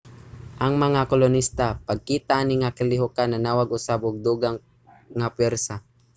ang mga kolonista pagkita ani nga kalihokan nanawag usab og dugang nga pwersa